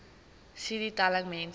cd telling mense